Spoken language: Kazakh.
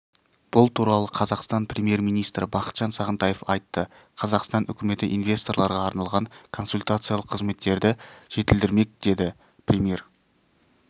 бұл туралы қазақстан премьер-министрі бақытжан сағынтаев айтты қазақстан үкіметі инвесторларға арналған консультациялық қызметтерді жетілдірмек деді премьер